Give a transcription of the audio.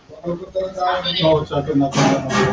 हो chartant accountant बनु.